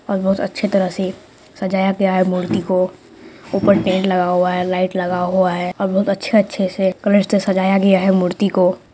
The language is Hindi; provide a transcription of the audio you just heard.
--और बहुत अच्छे तरह से सजाया गया है मूर्ति को ऊपर टेंट लगा हुआ है लाइट लगा हुआ है और बहुत अच्छे-अच्छे से कलर से सजाया गया है मूर्ति को।